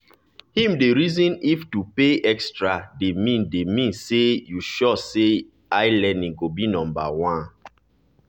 him dey reason if to pay extra dey mean dey mean say e sure say ilearning go be number 1